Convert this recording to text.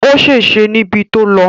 Ó ṣèṣé níbi tó lọ